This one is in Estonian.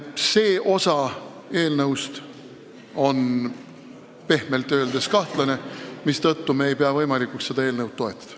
See osa eelnõust on pehmelt öeldes kahtlane, mistõttu me ei pea võimalikuks seda eelnõu toetada.